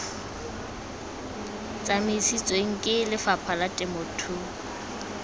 tsamisiwang ke lefapha la temothuo